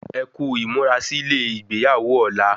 Ẹkú ímúrasílè igbeyawo ọ̀la